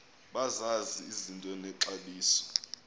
bazazi izinto nexabiso